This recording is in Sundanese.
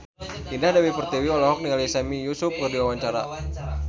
Indah Dewi Pertiwi olohok ningali Sami Yusuf keur diwawancara